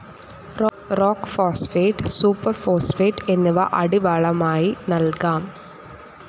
Rock phosphate, super phosphate എന്നിവ അടിവളമായി നൽകാം.